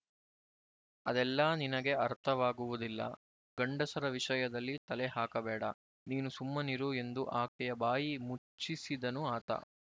ಅದೆಲ್ಲ ನಿನಗೆ ಅರ್ಥವಾಗುವುದಿಲ್ಲ ಗಂಡಸರ ವಿಷಯದಲ್ಲಿ ತಲೆ ಹಾಕಬೇಡ ನೀನು ಸುಮ್ಮನಿರು ಎಂದು ಆಕೆಯ ಬಾಯಿ ಮುಚ್ಚಿಸಿದನು ಆತ